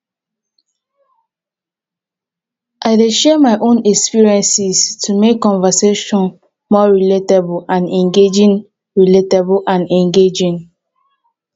i dey share my own experiences to make conversations more relatable and engaging. relatable and engaging.